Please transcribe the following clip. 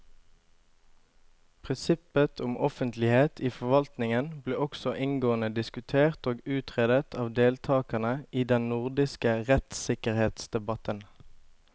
Prinsippet om offentlighet i forvaltningen ble også inngående diskutert og utredet av deltakerne i den nordiske rettssikkerhetsdebatten.